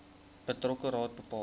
betrokke raad bepaal